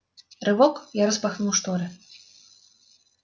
рывок я распахнул шторы